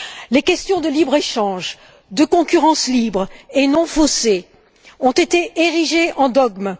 Les questions de libre échange, de concurrence libre et non faussée ont été érigées en dogmes.